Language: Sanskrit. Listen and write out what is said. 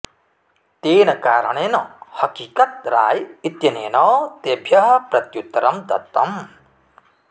तेन कारणेन हकीकत राय इत्यनेन तेभ्यः प्रत्युत्तरं दत्तम्